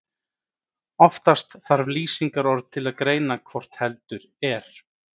Oftast þarf lýsingarorð til að greina hvort heldur er.